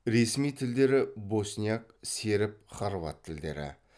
ресми тілдері босняк серб хорват тілдері